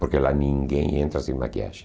Porque lá ninguém entra sem maquiagem.